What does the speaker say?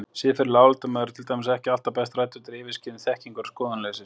Siðferðileg álitamál eru til dæmis ekki alltaf best rædd undir yfirskyni þekkingar- og skoðanaleysis.